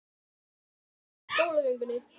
En svo ég komi aftur að skólagöngunni.